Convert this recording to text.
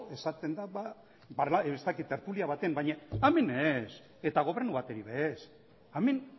esaten da ez dakit tertulia baten baina hemen ez eta gobernu baten ere ez hemen